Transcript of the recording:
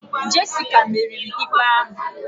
Jessica meriri ikpe ahụ